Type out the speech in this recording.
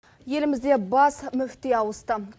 елімізде бас мүфти ауысты